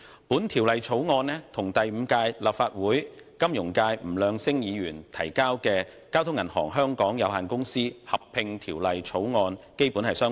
本《條例草案》與第五屆立法會金融界議員吳亮星先生提交的《交通銀行有限公司條例草案》基本相同。